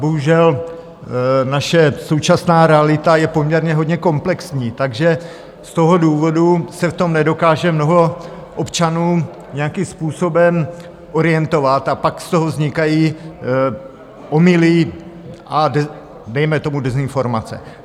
Bohužel naše současná realita je poměrně hodně komplexní, takže z toho důvodu se v tom nedokáže mnoho občanů nějakým způsobem orientovat a pak z toho vznikají omyly a dejme tomu dezinformace.